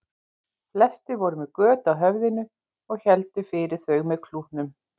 Flestir voru með göt á höfðinu og héldu fyrir þau með klútum.